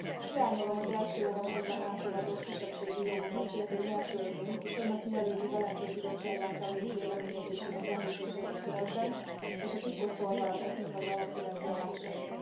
Hiányolom az első olvasatban elfogadott kisebbségi jogokat sértő nyelvtörvény, és annak mielőbbi Velencei Bizottság általi véleményezésének említését a szövegben és a titkosszolgálat etnikai alapú vegzálásait.